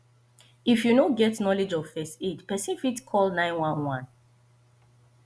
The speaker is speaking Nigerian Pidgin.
if you no get knowlege of first aid persin fit help call 911